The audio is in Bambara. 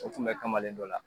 O tun bɛ kamalen dɔ la